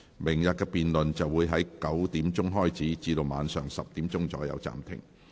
明天的辯論會在上午9時開始，晚上10時左右暫停。